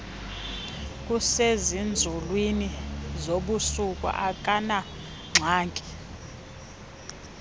kusezinzulwini zobusuku akanangxaki